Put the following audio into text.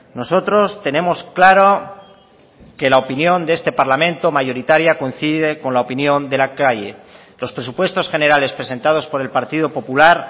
nosotros tenemos claro que la opinión de este parlamento mayoritaria coincide con la opinión de la calle los presupuestos generales presentados por el partido popular